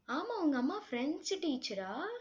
ஆமா, உங்க அம்மா பிரெஞ்சு teacher ஆ?